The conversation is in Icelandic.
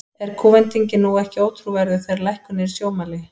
Er kúvendingin nú ekki ótrúverðug, þegar að lækkun er í sjónmáli?